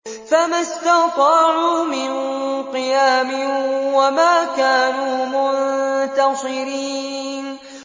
فَمَا اسْتَطَاعُوا مِن قِيَامٍ وَمَا كَانُوا مُنتَصِرِينَ